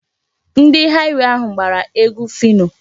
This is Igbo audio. Ndị haịwey ahụ gbara egwu Phyno.